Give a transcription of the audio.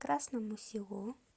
красному селу